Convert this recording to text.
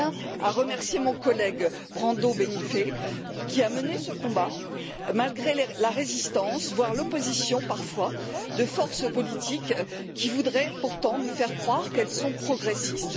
Je tiens à remercier mon collègue, Brando Benifei, qui a mené ce combat malgré la résistance, voire l'opposition parfois, de forces politiques qui voudraient pourtant nous faire croire qu'elles sont progressistes.